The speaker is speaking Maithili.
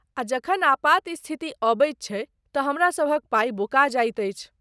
आ जखन आपातस्थिति अबैत छै तँ हमरा सभक पाइ बुका जाइत अछि।